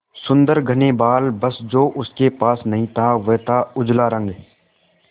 सुंदर घने बाल बस जो उसके पास नहीं था वह था उजला रंग